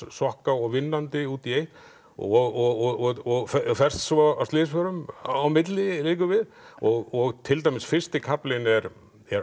sokka og vinnandi út í eitt og og ferst svo af slysförum á milli liggur við og til dæmis fyrsti kaflinn er